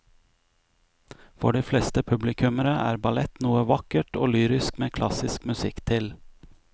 For de fleste publikummere er ballett noe vakkert og lyrisk med klassisk musikk til.